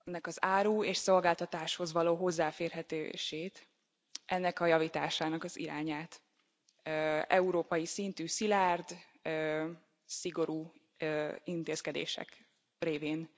az árukhoz és szolgáltatásokhoz való hozzáférhetőségéről, ennek a javításának az irányáról európai szintű szilárd, szigorú intézkedések révén.